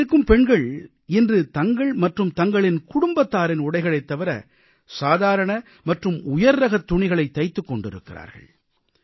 இங்கிருக்கும் பெண்கள் இன்று தங்கள் மற்றும் தங்களின் குடும்பத்தாரின் உடைகளைத் தவிர சாதாரண மற்றும் உயர்ரகத் துணிகளைத் தைத்துக் கொண்டிருக்கிறார்கள்